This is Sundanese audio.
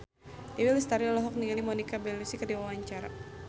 Dewi Lestari olohok ningali Monica Belluci keur diwawancara